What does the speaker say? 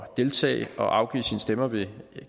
deltage og afgiv sin stemme ved